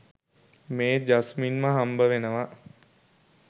මේ ජස්මින්ව හම්බවෙනවා.